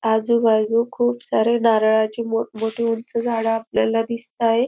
आजूबाजू खूप सारे नारळाचे मोठ मोठे उंच झाडे आपल्याला दिसतायेत.